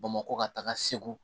Bamakɔ ka taga segu